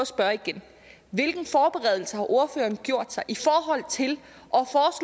spørge igen hvilken forberedelse har ordføreren gjort sig i forhold til